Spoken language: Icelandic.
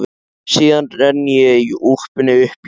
Síðan renni ég úlpunni upp í háls.